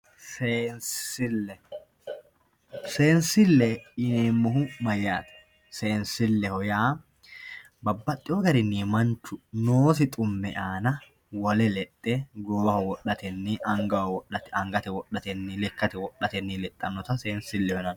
seensille. seensille yineemmohu mayyaate seensilleho yineemmohu babbaxxewoo giwirinnu manchu noosi xumme aana wole lexxe goowaho wodhatenni angate wodhatenni lekkate wodhatenni lexxaannota seensilleho yinanni